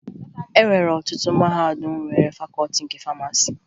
E nwere ọtụtụ mahadum nwere Fakọọti nke Famasi